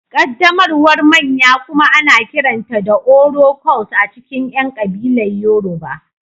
Ƙaddamarwar manya kuma ana kiranta da Oro-cult a cikin ƴan kabilar Yoruba